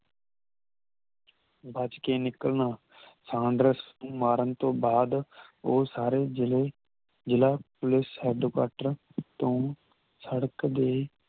ਬਚ ਕੇ ਨਿਕਲਣਾ ਸਾਂਡਰਸ ਮਾਰਨ ਤੋਂ ਬਾਦ ਉਹ ਸਾਰੇ ਜਿਲੇ ਜਿਲਾ ਪੁਲਿਸ headquarter ਤੋਂ ਸੜਕ ਦੇ